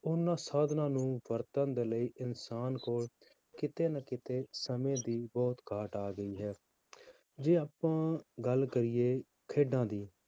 ਉਹਨਾਂ ਸਾਧਨਾਂ ਨੂੰ ਵਰਤਣ ਦੇ ਲਈ ਇੱਕ ਇਨਸਾਨ ਕੋਲ ਕਿਤੇ ਨਾ ਕਿਤੇ ਸਮੇਂ ਦੀ ਬਹੁਤ ਘਾਟ ਆ ਗਈ ਹੈ, ਜੇ ਆਪਾਂ ਗੱਲ ਕਰੀਏ ਖੇਡਾਂ ਦੀ